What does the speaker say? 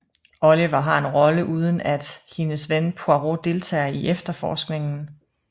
Oliver har en rolle uden at hendes ven Poirot deltager i efterforskningen